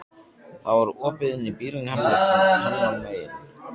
Það var opið inn í bílinn hennar megin.